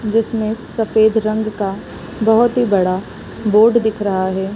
जिसमें सफ़ेद रंग का बहोत ही बड़ा बोर्ड दिख रहा है।